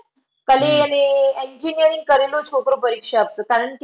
Engineering કરતો છોકરો પરીક્ષા આપતો કારણકે